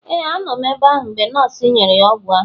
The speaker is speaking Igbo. Ee, a nọ m ebe ahụ mgbe nọọsụ nyere ya ọgwụ ahụ